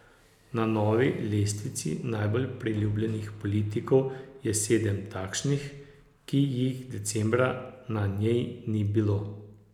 Na novi lestvici najbolj priljubljenih politikov je sedem takšnih, ki jih decembra na njej ni bilo.